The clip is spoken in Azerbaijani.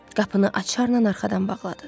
Qapını açarla arxadan bağladı.